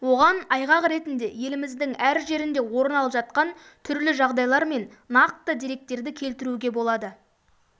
оған айғақ ретінде еліміздің әр жерінде орын алып жатқан түрлі жағдайлар мен нақты деректерді келтіруге болады